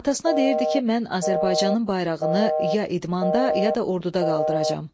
Atasına deyirdi ki, mən Azərbaycanın bayrağını ya idmanda, ya da orduda qaldıracağam.